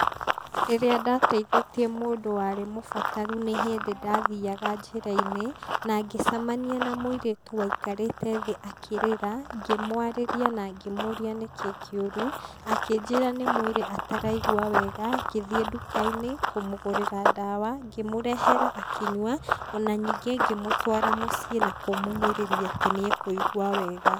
Rĩrĩa ndateithĩtie mũndũ warĩ mũbataru nĩ hĩndĩ ndathiaga njĩra-inĩ, na ngĩcamania na mũirĩtu waikarĩre thĩ akĩrĩra, ngĩmwarĩria na ngĩmũria nĩ kĩ kĩũrũ, akĩnjĩra nĩ mwĩrĩ ataraigua wega, ngĩthiĩ duka-inĩ kũmũgũrĩra ndawa, ngĩmũrehera akĩnyua ona ningĩ ngĩmũtwara mũciĩ na kũmũmĩrĩria atĩ nĩ ekũigua wega.